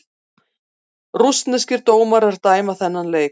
Rússneskir dómarar dæma þann leik